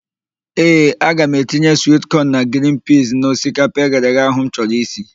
Ee, aga m etinye swit kọn na grin piiz n'osikapa eghereghe ahụ m chọrọ isi.